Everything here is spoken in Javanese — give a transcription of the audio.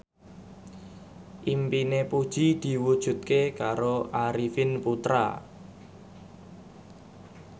impine Puji diwujudke karo Arifin Putra